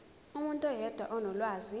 umuntu oyedwa onolwazi